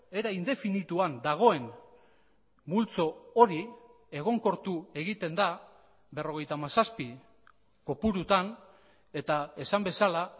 era indefinituan dagoen multzo hori egonkortu egiten da berrogeita hamazazpi kopurutan eta esan bezala